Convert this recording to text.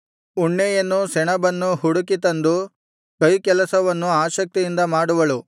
ಉಣ್ಣೆಯನ್ನೂ ಸೆಣಬನ್ನೂ ಹುಡುಕಿ ತಂದು ಕೈಕೆಲಸವನ್ನು ಆಸಕ್ತಿಯಿಂದ ಮಾಡುವಳು